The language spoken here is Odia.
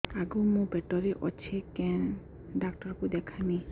ଆଗୋ ମୁଁ ପେଟରେ ଅଛେ କେନ୍ ଡାକ୍ତର କୁ ଦେଖାମି